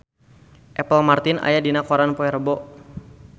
Apple Martin aya dina koran poe Rebo